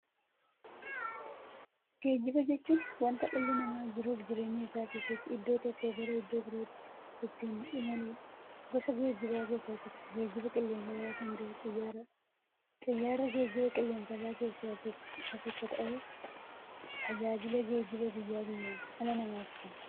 Geejjiba jechuun wanta dhalli namaa jiruuf jireenya isaa keessatti iddoo tokkoo gara iddoo birootti ittiin imaluudha. Gosa geejjibaa keessaa tokko geejjiba qilleensarraa kan ta'e Xiyyaaradha. Xiyyaarri geejjibaa qilleensarraa keessaa tokko ta'ee, tajaajila geejjibaa guyyaa guyyaan dhala namaaf kenna.